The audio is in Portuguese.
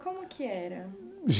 Como que era?